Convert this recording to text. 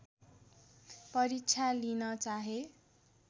परीक्षा लिन चाहे